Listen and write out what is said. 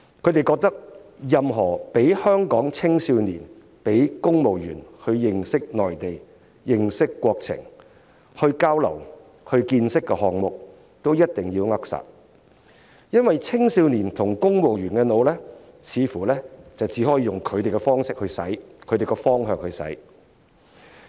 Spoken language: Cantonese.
他們認為任何讓香港青少年和公務員認識內地、認識國情、交流和增長見識的項目，也一定要扼殺，因為青少年和公務員似乎只可以用他們的方式和方向去"洗腦"。